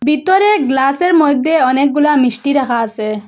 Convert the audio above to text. ভিতরে গ্লাসের মইধ্যে অনেকগুলা মিষ্টি রাখা আসে।